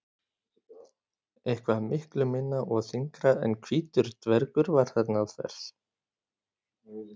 Eitthvað miklu minna og þyngra en hvítur dvergur var þarna að verki.